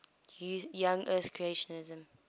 young earth creationism